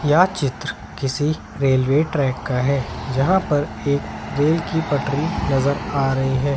यह चित्र किसी रेलवे ट्रैक का है यहां पर एक रेल की पटरी नजर आ रही है।